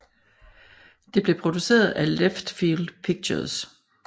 Det bliver produceret af Leftfield Pictures